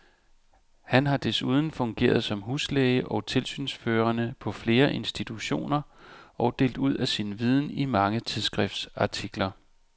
Han har desuden fungeret som huslæge og tilsynsførende på flere institutioner og delt ud af sin viden i mange tidsskriftsartikler.